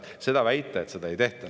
Ei saa väita, et seda ei tehta.